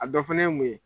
A dɔ fana ye mun ye